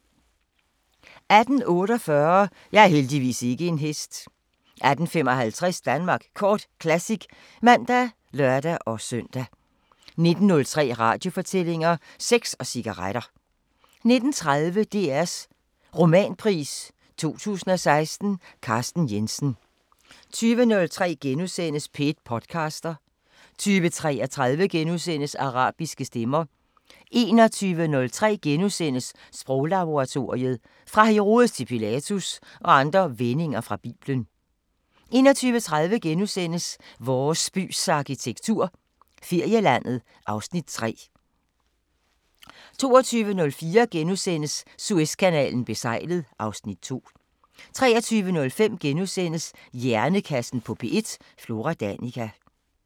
18:48: Jeg er heldigvis ikke en hest 18:55: Danmark Kort Classic (man og lør-søn) 19:03: Radiofortællinger: Sex og cigaretter 19:30: DRs Romanpris 2016: Carsten Jensen 20:03: P1 podcaster * 20:33: Arabiske Stemmer * 21:03: Sproglaboratoriet: "Fra Herodes til Pilatus" og andre vendinger fra biblen * 21:30: Vores bys arkitektur – Ferielandet (Afs. 3)* 22:04: Suezkanalen besejlet (Afs. 2)* 23:05: Hjernekassen på P1: Flora Danica *